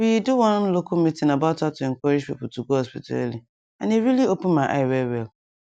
we do one local meeting about how to encourage people to go hospital early and e really open my eye well well